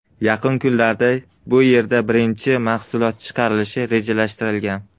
Yaqin kunlarda bu yerda birinchi mahsulot chiqarilishi rejalashtirilgan.